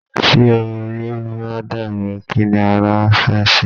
Tí orí bá dàrú, kí ni ara fẹ́ ṣe?